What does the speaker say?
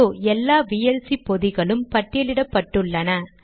இதோ எல்லா விஎல்சி பொதிகளும் பட்டியலிடப்பட்டுள்ளன